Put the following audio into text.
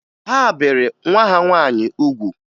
Ha bere nwa ha nwaanyị ugwu